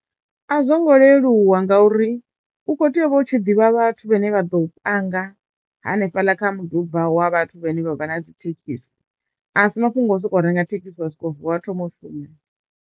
A zwongo leluwa ngauri u kho teyo u vha u tshi ḓivha vhathu vhane vha ḓo panga hanefhaḽa kha muḓi ubva wa vhathu vhane vha vha na dzi thekhisi a si mafhungo a u sokou renga thekhisi zwivha zwikho vuwa wa thomo u shuma.